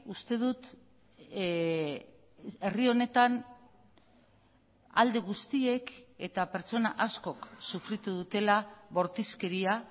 uste dut herri honetan alde guztiek eta pertsona askok sufritu dutela bortizkeria